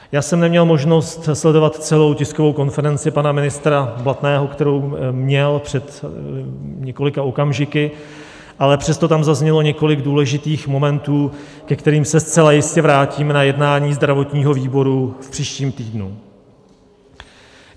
Já jsem neměl možnost sledovat celou tiskovou konferenci pana ministra Blatného, kterou měl před několika okamžiky, ale přesto tam zaznělo několik důležitých momentů, ke kterým se zcela jistě vrátíme na jednání zdravotního výboru v příštím týdnu.